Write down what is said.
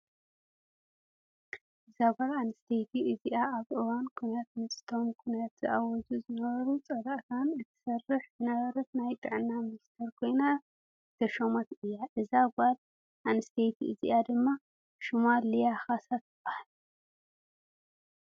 እዛ ጓል አነስተይቲ እዚኣ ኣብ እዋን ኩናት ምስ እቶም ኩናት ዝእውጁ ዝነበሩ ፃላእትና እትሰርሕ ዝነበረት ናይ ጥዕና ሚኒስትር ኮይና ዝተሸመት እያ። እዛ ጓለ ነንስተይቲ እዚኣ ድማ ሽማ ልያ ካሳ ትባሃል።